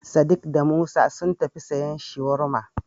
Sadik da Musa sun tafi siyan Shawarma.